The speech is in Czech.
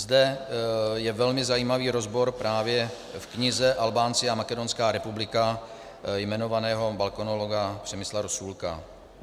Zde je velmi zajímavý rozbor právě v knize Albánci a Makedonská republika jmenovaného balkanologa Přemysla Rosůlka.